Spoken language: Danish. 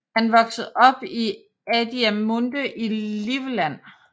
Han voksede op i Adiamünde i Livland